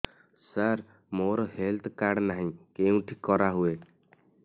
ସାର ମୋର health card ନାହିଁ କେଉଁଠି କରା ହୁଏ